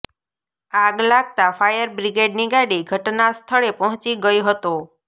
આગ લાગતા ફાયર બ્રિગેડની ગાડી ઘટના સ્થળે પહોંચી ગઇ હતો